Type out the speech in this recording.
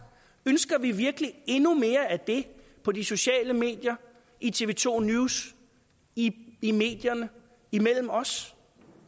ønsker vi virkelig endnu mere af det på de sociale medier i tv to news i i medierne imellem os